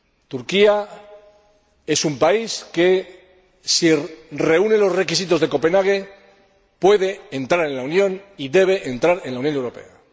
Turquía es un país que, si reúne los criterios de Copenhague, puede entrar en la Unión y debe entrar en la Unión Europea.